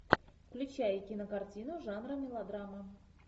включай кинокартину жанра мелодрама